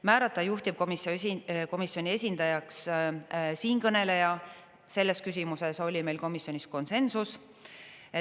Määrata juhtivkomisjoni esindajaks siinkõneleja, selles küsimuses oli meil komisjonis konsensus.